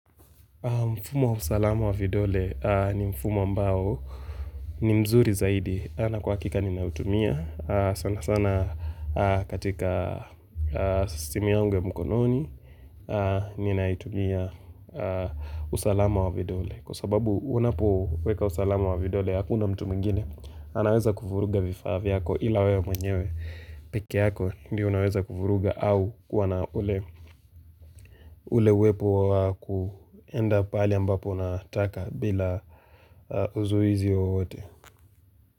Mfumo wa usalamu wa vidole ni mfumo ambao ni mzuri zaidi. Ana kwa hakika ninautumia. Sanasana katika simu yangu ya mkononi, ninaitumia usalamu wa vidole. Kwa sababu unapoweka usalamu wa vidole, hakuna mtu mwingine, anaweza kuvuruga vifaa vyako ila wewe mwenyewe peke yako. Ndio unaweza kuvuruga au kuwa na ule uwepo wa kuenda pahali ambapo unataka bila uzuizi wowote.